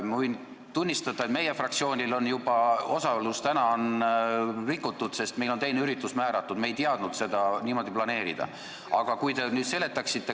Võin tunnistada, et meie fraktsioonil on tänaseks juba osalus rikutud, sest meil on ka üks teine üritus ees, me ei teadnud aega niimoodi planeerida.